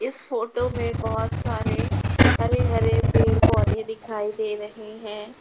इस फोटो में बहुत सारे हरे हरे पेड़ पौधे दिखाई दे रहे हैं।